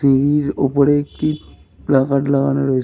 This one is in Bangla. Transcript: টিভির উপরে একটি প্ল্যাকার্ড লাগানো রয়েছে।